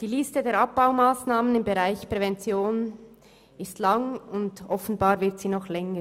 Die Liste der Abbaumassnahmen im Bereich Prävention ist lang, und offenbar wird sie noch länger.